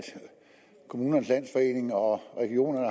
kommunernes landsforening og regionerne